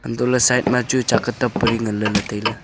anto ley side ma chu chak ke tap peri ngan ley ley tailey.